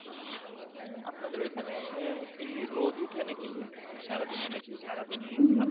আপনাদের ওইখানে আহ কি রোদ উঠে নাকি সারাদিনই নাকি সারাদিনই ঠান্ডা?